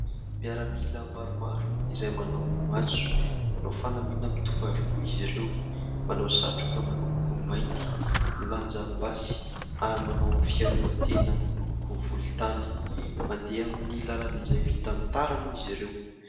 Miaramila maromaro izay manao matso. Manao fanamiana mitovy avokoa izy ireo. Manao satroka miloko mainty milanja basy ary manao fiarovan-tena miloko volontany. Mandeha amin'ny lalana izay vita amin'ny tara moa izy ireo.